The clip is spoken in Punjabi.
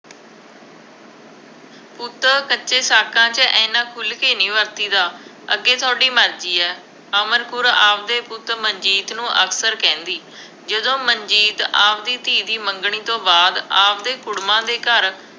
ਪੁੱਤ ਕੱਚੇ ਸਾਕਾਂ 'ਚ ਐਨਾ ਖੁੱਲ੍ਹ ਕੇ ਨਹੀਂ ਵਰਤੀ ਦਾ, ਅੱਗੇ ਤੁਹਾਡੀ ਮਰਜ਼ੀ ਹੈ, ਅਮਰ ਕੌਰ ਆਪਦੇ ਪੁੱਤ ਮਨਜੀਤ ਨੂੰ ਅਕਸਰ ਕਹਿੰਦੀ। ਜਦੋਂ ਮਨਜੀਤ ਆਪਦੀ ਧੀ ਦੀ ਮੰਗਣੀ ਤੋਂ ਬਆਦ ਆਪਦੇ ਕੁੜਮਾਂ ਦੇ ਘਰ